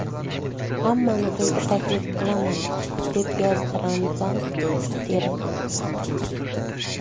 Hammani to‘yga taklif qilaman!”, - deb yozdi Ramzan Qodirov.